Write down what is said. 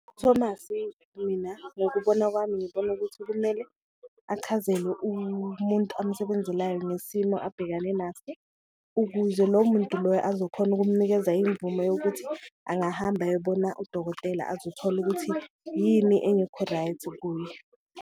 UThomas mina ngokubona kwami ngibona ukuthi kumele achazelwe amsebenzelayo nesimo abhekane naso, ukuze lo muntu loyo azokhona ukumnikeza imvume yokuthi angahamba ayobona udokotela azothola ukuthi yini engekho-right kuye.